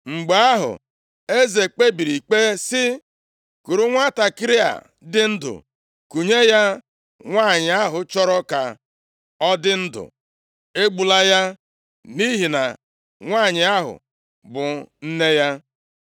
Mgbe ahụ, eze kpebiri ikpe sị, “Kuru nwantakịrị a dị ndụ kunye ya nwanyị ahụ chọrọ ka ọ dị ndụ. Egbula ya, nʼihi na nwanyị ahụ bụ nne ya.”